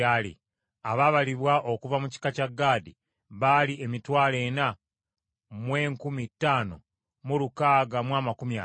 Abaabalibwa okuva mu kika kya Gaadi baali emitwalo ena mu enkumi ttaano mu lukaaga mu amakumi ataano (45,650).